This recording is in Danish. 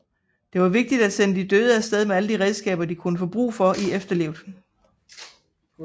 Det var vigtigt at sende de døde afsted med alle de redskaber de kunne få brug for i etferlivet